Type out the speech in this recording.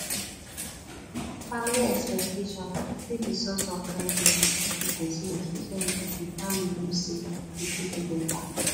family expectation fit be source of guidance to person especially if di family know sey you fit do better